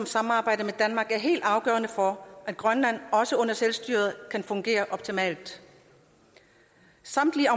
samarbejdet med danmark er helt afgørende for at grønland også under selvstyret kan fungere optimalt samtlige